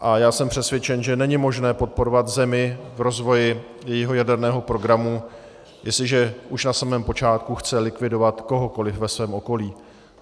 A já jsem přesvědčen, že není možné podporovat zemi v rozvoji jejího jaderného programu, jestliže už na samém počátku chce likvidovat kohokoliv ve svém okolí.